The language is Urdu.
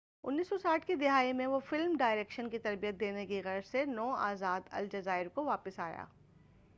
1960 کی دہائی میں وہ فلم ڈائرکشن کی تربیت دینے کی غرض سے نو آزاد الجزائر کو واپس آیا